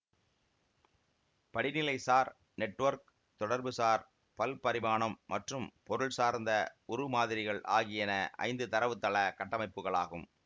படிநிலைசார் network தொடர்புசார் பல்பரிமாணம் மற்றும் பொருள்சார்ந்த உருமாதிரிகள் ஆகியன ஐந்து தரவுத்தள கட்டமைப்புகளாகும்